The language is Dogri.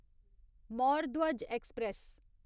मौर धवज ऐक्सप्रैस